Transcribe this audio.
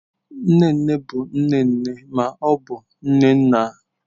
Nne nne bụ nne nne ma ọ bụ nne nna.